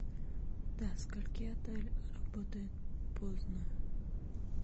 до скольки отель работает поздно